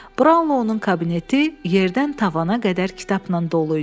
Braunlonun kabineti yerdən tavana qədər kitabla dolu idi.